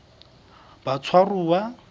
batshwaruwa